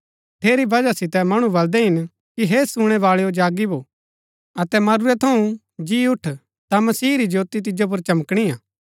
ठेरी बजहा सितै मणु बल्‍दै हिन कि हे सूणै बाळैआ जागी भो अतै मरूरै थऊँ जी उठ ता मसीह री ज्योति तिजो पुर चमकणी हा